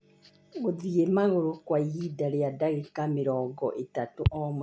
gũthiĩ magũrũ kwa ihinda rĩa ndagĩka mĩrongo ĩtatũ o mũthenya